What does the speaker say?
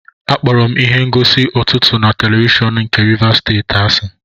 Akpọrọ m ihe ngosi ụtụtụ na televishọn nke Rivers Steeti asị.